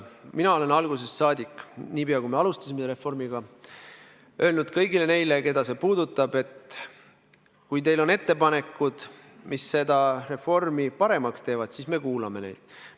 Mina olen algusest saadik, niipea kui me alustasime selle reformiga, öelnud kõigile neile, keda see puudutab, et kui teil on ettepanekud, mis seda reformi paremaks teevad, siis me kuulame neid.